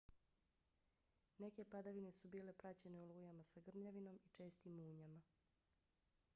neke padavine su bile praćene olujama sa grmljavinom i čestim munjama